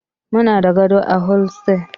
Muna da gado a hostel.